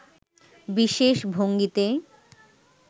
বিশেষ ভঙ্গিতে